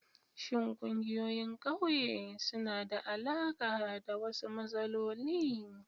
Shin ƙungiyoyin ƙauye suna da alaƙa da wasu matsaloli?